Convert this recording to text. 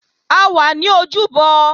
A wà ní ojúbọ